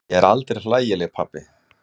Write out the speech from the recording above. Ég er aldrei hlægileg pabbi.